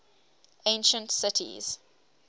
ancient cities